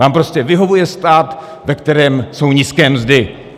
Vám prostě vyhovuje stát, ve kterém jsou nízké mzdy.